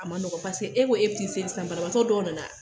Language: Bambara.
A ma nɔgɔ paseke e ko ke bi t'i seli san banabaa dɔw nana